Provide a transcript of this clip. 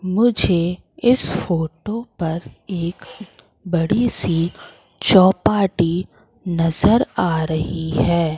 मुझे इस फोटो पर एक बड़ी सी चौपाटी नजर आ रही है।